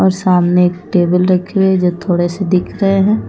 और सामने एक टेबल रखी हुए जो थोड़े से दिख रहे हैं।